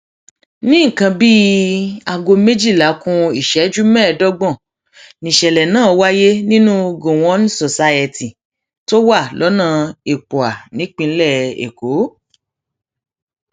ní nǹkan bíi aago méjìlá ku ìṣẹjú mẹẹẹdọgbọn níṣẹlẹ náà wáyé nínú gọwọn society tó wà lọnà ipuã nípìnlẹ èkó